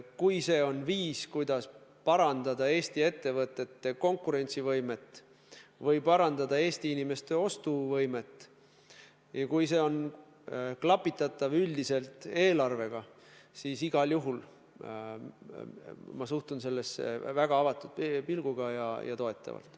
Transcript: Kui see on viis, kuidas parandada Eesti ettevõtete konkurentsivõimet või parandada Eesti inimeste ostuvõimet, ja kui see on klapitatav üldise eelarvega, siis igal juhul ma suhtun sellesse väga avatult ja toetavalt.